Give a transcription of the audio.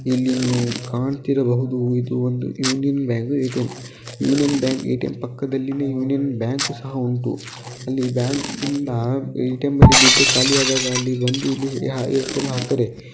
ಎಲ್ಲಿ ನೀವು ಕಾಣ್ತಿರಬಹುದು ಇದು ಒಂದು Union Bank A T M Union Bank ATM ಪಕ್ಕದಲ್ಲಿನೇ ಯೂನಿಯನ್ ಬ್ಯಾಂಕ್ ಸಹ ಉಂಟು ಅಲ್ಲಿ ಬ್ಯಾಂಕಿಂದ ಎ ಟಿ ಎಂ ನಲ್ಲಿ ದುಡ್ಡು ಖಾಲಿಯಾದಾಗ ಅಲ್ಲಿ ಬಂದು ಇಲ್ಲಿ ಎ ಟಿ ಎಂ ಆಗ್ತಾರೆ.